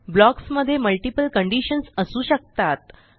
blocks मध्ये multiple conditions असू शकतात